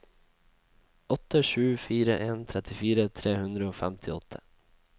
åtte sju fire en trettifire tre hundre og femtiåtte